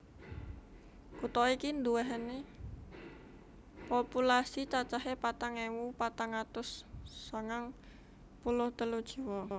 Kutha iki nduwèni populasi cacahé patang ewu patang atus sangang puluh telu jiwa